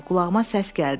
Qulağıma səs gəldi.